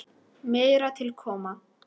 Meira til koma.